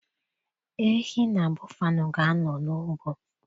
Ehi na bọffalo ga-anọ n'ugbo.